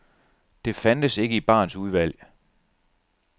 Det fandtes ikke i barens udvalg.